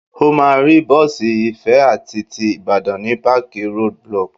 O máa rí bọ́ọ̀sì Ifẹ̀ àti ti Ìbàdàn ní páàkì Road Block.